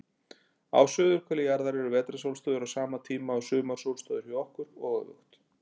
Á suðurhveli jarðar eru vetrarsólstöður á sama tíma og sumarsólstöður hjá okkur, og öfugt.